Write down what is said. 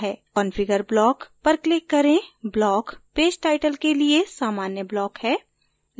configure block पर click करें block page title के लिए सामान्य block है